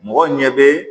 Mɔgɔw ɲɛ bɛ